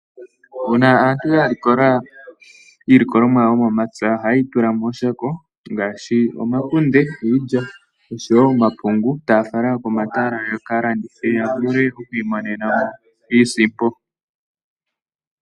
Uuna aantu ya likola iilikolomwa yawo yomomapya. Oha yeyi tula mooshako ngashi omakunde, iilya osho wo omapungu, taya fala komatala yaka landithe yo ya vule okwiimonenamo iisimpo.